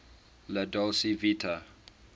la dolce vita